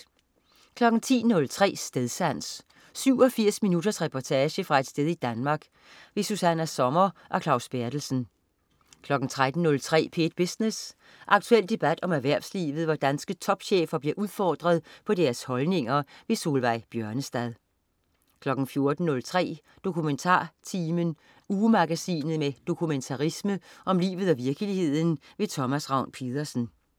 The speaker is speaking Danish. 10.03 Stedsans. 87 minutters reportage fra et sted i Danmark. Susanna Sommer og Claus Berthelsen 13.03 P1 Business. Aktuel debat om erhvervslivet, hvor danske topchefer bliver udfordret på deres holdninger. Solveig Bjørnestad 14.03 DokumentarTimen. Ugemagasinet med dokumentarisme om livet og virkeligheden. Thomas Ravn-Pedersen